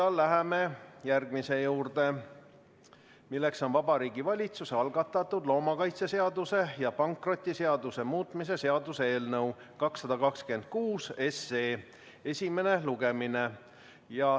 Läheme järgmise päevakorrapunkti juurde, Vabariigi Valitsuse algatatud loomakaitseseaduse ja pankrotiseaduse muutmise seaduse eelnõu 226 esimene lugemine.